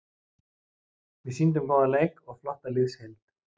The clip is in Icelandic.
Við sýndum góðan leik og flotta liðsheild.